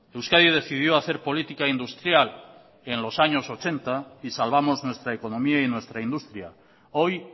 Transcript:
euskadi decidió hacer política industrial en los años mil novecientos ochenta y salvamos nuestra economía y nuestra industria hoy